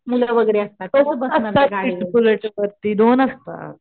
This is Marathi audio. मुलगा वगैरे असतात